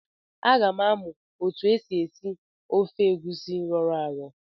Aga m amụ otu esi esi ofe egusi rọrọ arọ.